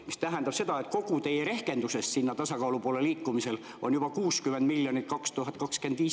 See tähendab seda, et kogu teie rehkendusest sinna tasakaalu poole liikumisel on juba 60 miljonit 2025.